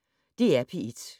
DR P1